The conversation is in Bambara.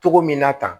Cogo min na tan